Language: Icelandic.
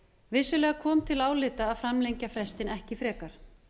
vissulega kom til álita að framlengja frestinn ekki frekar